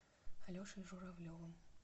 алешей журавлевым